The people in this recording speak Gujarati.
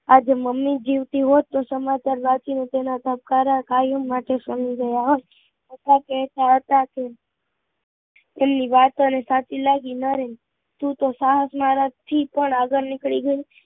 આજે મમ્મી જીવિત હોત તો સમાચાર વાંચીને હ્રદય ના ધબકારા કયારના શમી ગયા હોત અથાત તે તેમની વાતો ને સાચી લાગી નય તું તો સાહસ કરવા થી પણ આગળ વધી ગયો